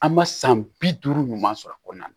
An ma san bi duuru ɲuman sɔrɔ a kɔnɔna na